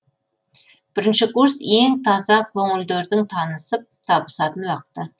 бірінші курс ең таза қөңілдердің танысып табысатын уақыты